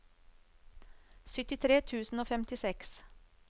syttitre tusen og femtiseks